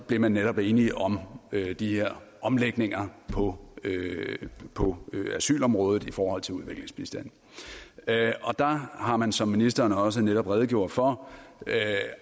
blev man netop enige om de her omlægninger på på asylområdet i forhold til udviklingsbistanden der har man som ministeren også netop redegjorde for